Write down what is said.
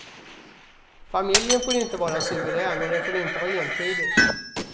Familjen får inte vara suverän och den får inte vara entydig.